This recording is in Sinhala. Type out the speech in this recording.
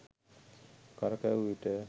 කරකැවූ විට